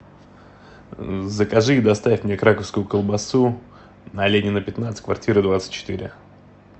закажи и доставь мне краковскую колбасу на ленина пятнадцать квартира двадцать четыре